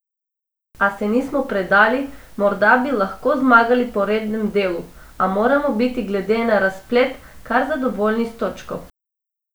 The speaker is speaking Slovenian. A se nismo predali, morda bi lahko zmagali po rednem delu, a moramo biti glede na razplet kar zadovoljni s točko.